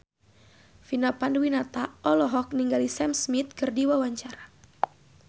Vina Panduwinata olohok ningali Sam Smith keur diwawancara